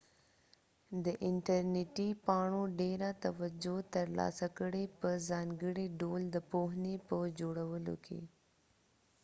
دي انټرنیټی پاڼو ډیره توجه تر لاسه کړي په ځانګړی ډول د پوهنی په جوړولو کې